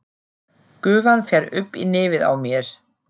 Gufan fer upp í nefið á mér.